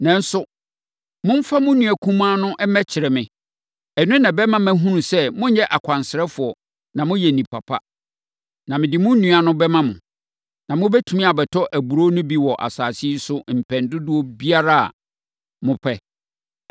Nanso, momfa mo nua kumaa no mmɛkyerɛ me. Ɛno na ɛbɛma mahunu sɛ monyɛ akwansrafoɔ na moyɛ nnipa pa. Na mede mo nua no bɛma mo, na mobɛtumi abɛtɔ aburoo no bi wɔ asase yi so mpɛn dodoɔ biara a mopɛ.’ ”